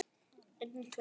Oft úr klípu bjargar sér.